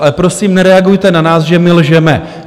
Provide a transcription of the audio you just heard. Ale prosím, nereagujte na nás, že my lžeme.